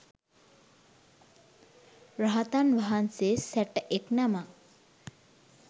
රහතන් වහන්සේ සැටඑක් නමක්